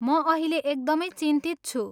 म अहिले एकदमै चिन्तित छु।